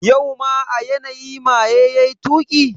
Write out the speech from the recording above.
Yau ma a yanayi maye yayi tuki?